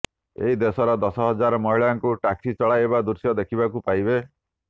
ଏହି ଦେଶର ଦଶ ହଜାର ମହିଳାଙ୍କୁ ଟ୍ୟାକ୍ସି ଚଲାଇବା ଦୃଶ୍ୟ ଦେଖିବାକୁ ପାଇବେ